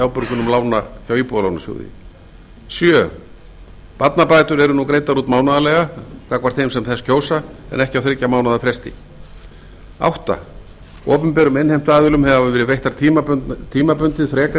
afborgunum lána hjá íbúðalánasjóði sjöunda barnabætur eru nú greiddar út mánaðarlega gagnvart þeim sem þess kjósa en ekki á þriggja mánaða fresti áttunda opinberum innheimtuaðilum hafa verið veittar tímabundið frekari